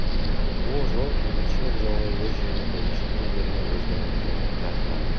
ол жол бейбітшілік жолы өз жеріңді ешкімге берме өзгенің жерін тартып алма